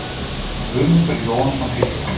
Guðmundur Jóhannsson heitir hann.